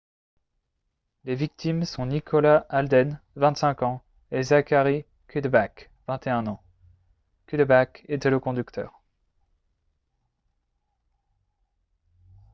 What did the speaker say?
les victimes sont nicholas alden 25 ans et zachary cuddeback 21 ans cuddeback était le conducteur